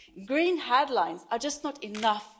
Green headlines are just not enough.